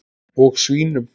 Og svínum.